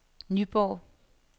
Nyborg